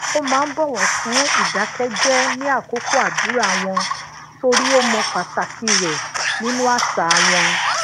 ó máa ń bòwò fún ìdákẹjẹ ní akoko àdúrà won torí ó mò pàtàkì re nínú àṣà wọn